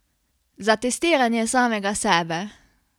Za testiranje samega sebe?